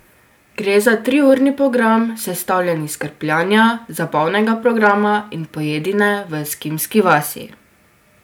Gre za triurni program, sestavljen iz krpljanja, zabavnega programa in pojedine v eskimski vasi.